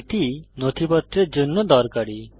এটি নথিপত্রের জন্য দরকারী